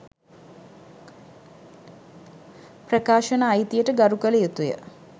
ප්‍රකාශන අයිතියට‍ ගරු කළ යුතුය.